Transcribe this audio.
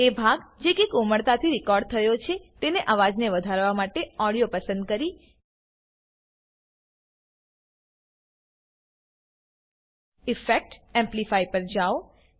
એ ભાગ જેકે કોમળતાથી રેકોર્ડ થયો છે તેના અવાજને વધારવા માટે ઓડીયો પસંદ કરી ઇફેક્ટ એમ્પ્લિફાય પર જાવ